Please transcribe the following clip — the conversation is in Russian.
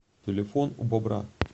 телефон у бобра